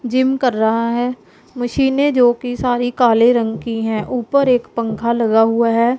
Gym कर रहा है मशीने जो की सारी काले रंग की है ऊपर एक पंखा लगा हुआ है।